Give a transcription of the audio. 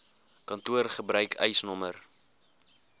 kantoor gebruik eisnr